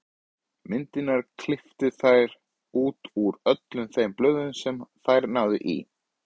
Myndirnar klipptu þær út úr öllum þeim blöðum sem þær náðu í.